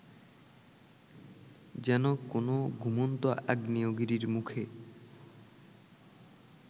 যেন কোনো ঘুমন্ত আগ্নেয়গিরির মুখে